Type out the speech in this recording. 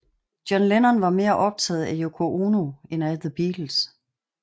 John Lennon var mere optaget af Yoko Ono end af The Beatles